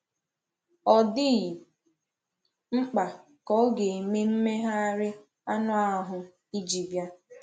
Ọ dịghị mkpa ka ọ gà-eme mmegharị anụ ahụ iji bịa.